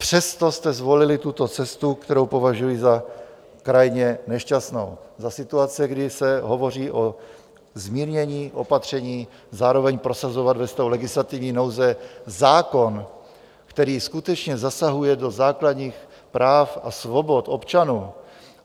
Přesto jste zvolili tuto cestu, kterou považuji za krajně nešťastnou za situace, kdy se hovoří o zmírnění opatření, zároveň prosazovat ve stavu legislativní nouze zákon, který skutečně zasahuje do základních práv a svobod občanů.